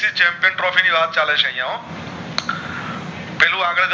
ChampionTrophy ની વાત ચલે છે અયા હો પેલું આગળ